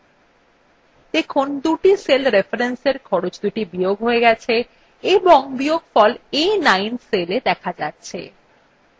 দেখুন দুটি cell references খরচদুটি বিয়োগ we গেছে এবং বিয়োগফল a9 cellwe দেখা যাচ্ছে